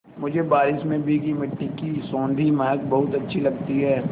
मुझे बारिश से भीगी मिट्टी की सौंधी महक बहुत अच्छी लगती है